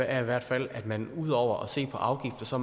er i hvert fald at man ud over at se på afgifter